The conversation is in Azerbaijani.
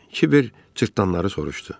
Kiber cırtdanları soruşdu.